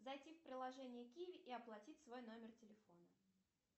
зайти в приложение киви и оплатить свой номер телефона